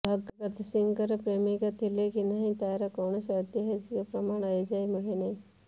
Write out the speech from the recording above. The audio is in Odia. ଭଗତ ସିଂହଙ୍କର ପ୍ରେମିକା ଥିଲେ କି ନାହିଁ ତାର କୌଣସି ଐତିହାସିକ ପ୍ରମାଣ ଏଯାଏଁ ମିଳିନାହିଁ